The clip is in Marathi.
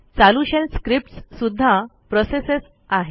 चालू शेल स्क्रिप्टस् सुध्दा प्रोसेसच आहे